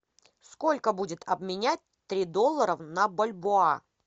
сколько будет обменять три доллара на бальбоа